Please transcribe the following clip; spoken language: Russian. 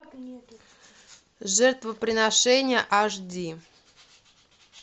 жертвоприношение аш ди